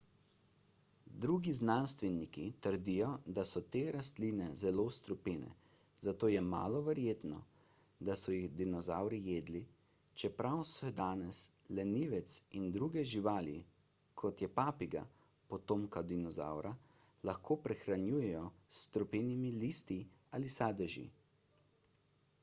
drugi znanstveniki trdijo da so te rastline zelo strupene zato je malo verjetno da so jih dinozavri jedli čeprav se danes lenivec in druge živali kot je papiga potomka dinozavra lahko prehranjujejo s strupenimi listi ali sadeži